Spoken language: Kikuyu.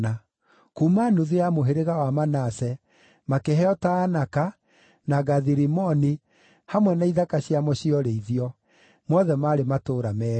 Kuuma nuthu ya mũhĩrĩga wa Manase makĩheo Taanaka, na Gathi-Rimoni hamwe na ithaka ciamo cia ũrĩithio; mothe maarĩ matũũra meerĩ.